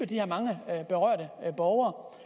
de her mange berørte borgere